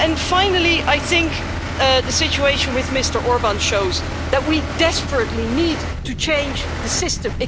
Finally, I think the situation with Mr Orbán shows that we desperately need to change the system.